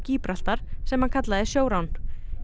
Gíbraltar sem hann kallaði sjórán